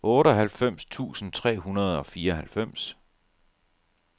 otteoghalvfems tusind tre hundrede og fireoghalvfems